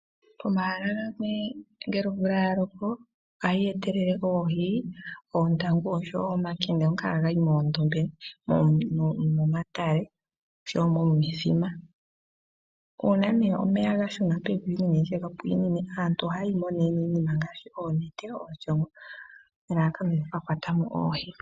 Pomahala gamwe ngele omvula ya loko ohayi etele oohi, oontangu osho wo omakende ngoka haga yi moondombe no momatale osho wo mo mithima. Uuna nduno omeya ga shuna pevi nenge nditye ga pwiinine, aantu ohaya yimo niinima ngaashi oonete, oshoongo nelalakano lyoku ka kwata mo oohi.